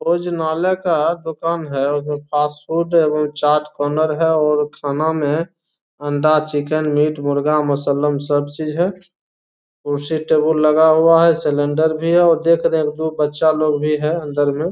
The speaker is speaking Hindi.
भोजनालय का दुकान है और फास्ट फ़ूड वो चाट कार्नर है और खाना में अंडा चिकन मीट मुर्गा मसलम सब चीज है। कुर्सी टेबल लगा हुआ है। सिलिंडर भी है और देख रहे हैं दु बच्चा लोग भी है अन्दर मे।